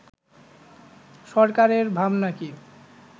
সরকারের ভাবনা কি